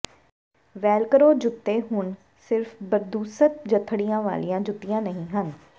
Velcro ਜੁੱਤੇ ਹੁਣ ਸਿਰਫ਼ ਬਦਸੂਰਤ ਜਠੜੀਆਂ ਵਾਲੀਆਂ ਜੁੱਤੀਆਂ ਨਹੀਂ ਹਨ